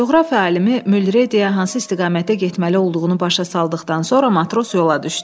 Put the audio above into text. Coğrafiya alimi Mülre deyə hansı istiqamətdə getməli olduğunu başa saldıqdan sonra matros yola düşdü.